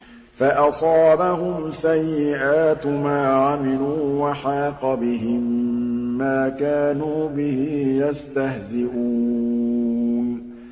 فَأَصَابَهُمْ سَيِّئَاتُ مَا عَمِلُوا وَحَاقَ بِهِم مَّا كَانُوا بِهِ يَسْتَهْزِئُونَ